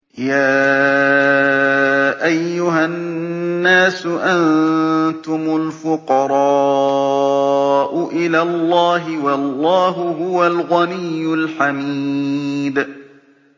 ۞ يَا أَيُّهَا النَّاسُ أَنتُمُ الْفُقَرَاءُ إِلَى اللَّهِ ۖ وَاللَّهُ هُوَ الْغَنِيُّ الْحَمِيدُ